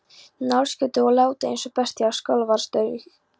Njálsgötu og látið eins og bestía á Skólavörðustíg.